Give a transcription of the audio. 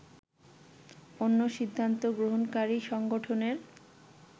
অন্য সিদ্ধান্ত গ্রহণকারী সংগঠনের